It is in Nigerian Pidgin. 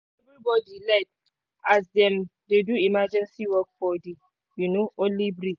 everybody late as dem dey do emergency work for the um only bridge